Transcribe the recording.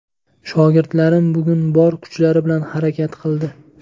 Shogirdlarim bugun bor kuchlari bilan harakat qildi.